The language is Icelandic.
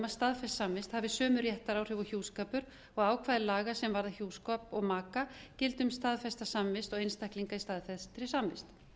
staðfestur samningur hafi sömu réttaráhrif og hjúskapur og ákvæði laga sem varða hjúskap og maka gildi um staðfesta samvist og einstaklinga í staðfestri samvist